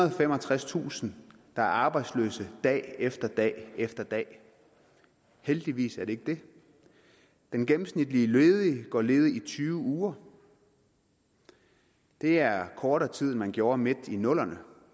og femogtredstusind der er arbejdsløse dag efter dag efter dag heldigvis er det ikke det den gennemsnitlige ledige går ledig i tyve uger det er kortere tid end man gjorde midt i nullerne